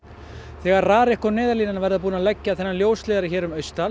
þegar RARIK og Neyðarlínan verða búin að leggja þennan ljósleiðara um